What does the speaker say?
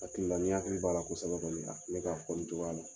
N hakila , n'i hakili b'a la kosɛbɛ don dɔ la ne k'a fɔ nin cogoya la.